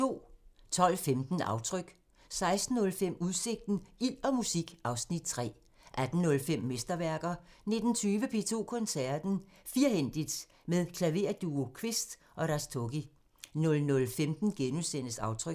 12:15: Aftryk 16:05: Udsigten – Ild og musik (Afs. 3) 18:05: Mesterværker 19:20: P2 Koncerten – Firhændigt! – med Klaverduo Quist & Rastogi 00:15: Aftryk *